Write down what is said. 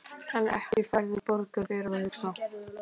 En ekki færðu borgað fyrir að hugsa?